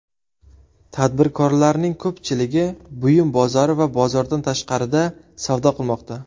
Tadbirkorlarning ko‘pchiligi buyum bozori va bozordan tashqarida savdo qilmoqda.